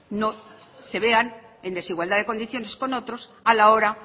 se vean en desigualdad de condiciones con otros a la hora